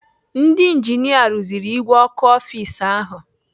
Ndị injinia rụziri ìgwè ọkụ ọfis ahụ.